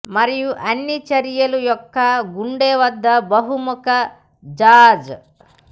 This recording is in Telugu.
మరియు అన్ని ఈ చర్య యొక్క గుండె వద్ద బహుముఖ జాజ్